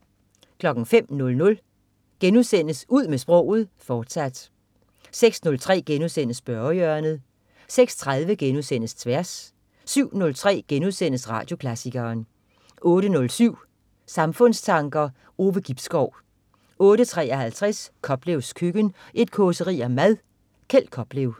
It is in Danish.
05.00 Ud med sproget, fortsat* 06.03 Spørgehjørnet* 06.30 Tværs* 07.03 Radioklassikeren* 08.07 Samfundstanker. Ove Gibskov 08.53 Koplevs Køkken. Et causeri om mad. Kjeld Koplev